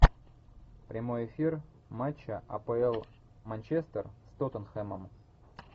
прямой эфир матча апл манчестер с тоттенхэмом